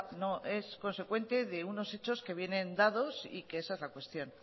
no es consecuente de unos hechos que vienen dados y que esa es la cuestión